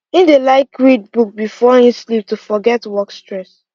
him dey like read book before him sleep to forget work stress